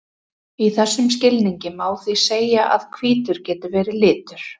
í þessum skilningi má því segja að hvítur geti verið litur